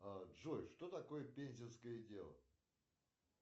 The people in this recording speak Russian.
джой что такое пензенское дело